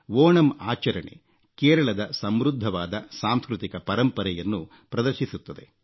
ಓಣಂ ಆಚರಣೆ ಕೇರಳದ ಸಮೃದ್ಧವಾದ ಸಾಂಸ್ಕೃತಿಕ ಪರಂಪರೆಯನ್ನು ಪ್ರದರ್ಶಿಸುತ್ತದೆ